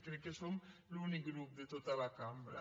crec que som l’únic grup de tota la cambra